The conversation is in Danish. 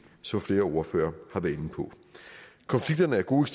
som flere ordførere har været inde på konflikterne er gode